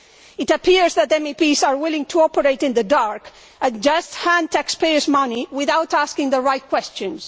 It appears that MEPs are willing to operate in the dark and just hand over taxpayers' money without asking the right questions.